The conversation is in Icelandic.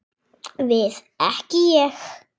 Við ekki Ég.